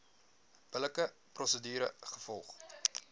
billike prosedure gevolg